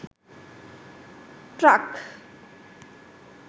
truck